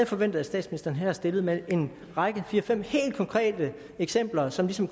forventet at statsministeren havde stillet med en række fire fem helt konkrete eksempler som ligesom